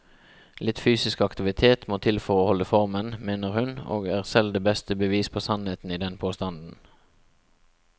Litt fysisk aktivitet må til for å holde formen, mener hun, og er selv det beste bevis på sannheten i den påstanden.